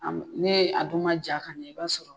A m ne a dun ma ja ka ɲɛ i b'a sɔrɔ